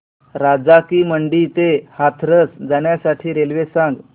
राजा की मंडी ते हाथरस जाण्यासाठी रेल्वे सांग